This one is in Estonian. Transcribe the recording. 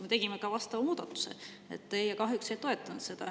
Me tegime ka vastava muudatuse, teie kahjuks ei toetanud seda.